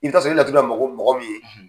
I bi taa sɔrɔ i bi laturu da mɔgɔ min ye